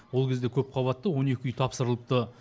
ол кезде көпқабатты он екі үй тапсырылыпты